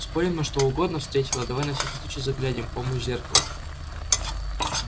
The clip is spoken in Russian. спорим на что угодно встретила давай на всякий случай заглянем помощь зеркала